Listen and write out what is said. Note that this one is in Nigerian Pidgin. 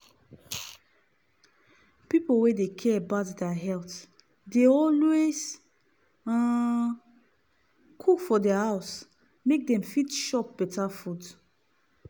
pipu wey dey care about deir health dey always um cook for deir house make dem fit chop better food.